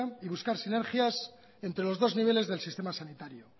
y buscar sinergias entre los dos niveles del sistema sanitario